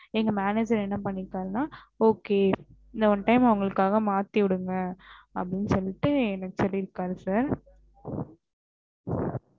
எங்க manager என்ன பன்னிருகருணா okay இந்த one time அவுங்களுக்காக மாத்தி விடுங்க அப்டின்னு சொல்லிட்டு சொல்லிருகாறு sir